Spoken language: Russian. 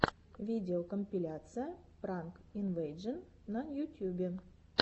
видеокомпиляция пранк инвэйжэн на ютьюбе